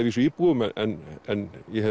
vísu íbúum en ég